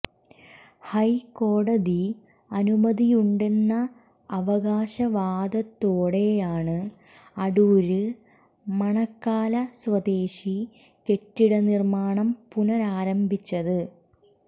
ഹൈക്കോടതി അനുമതിയുണ്ടെന്ന അവകാശവാദത്തോടെയാണ് അടൂര് മണക്കാല സ്വദേശി കെട്ടിട നിര്മ്മാണം പുനരാരംഭിച്ചത്